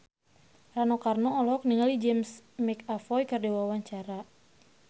Rano Karno olohok ningali James McAvoy keur diwawancara